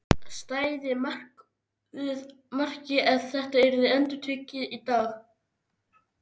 Stæði markið ef þetta yrði endurtekið í dag?